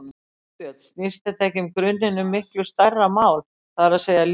Þorbjörn: Snýst þetta ekki í grunninn um miklu stærra mál, það er að segja lýðræði?